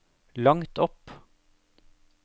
langt opp